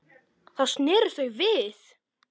Þá sneru þau við.